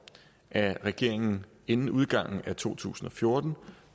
at regeringen inden udgangen af to tusind og fjorten